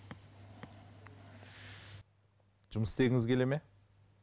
жұмыс істегіңіз келеді ме